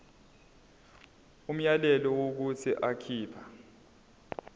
umyalelo wokuthi akhipha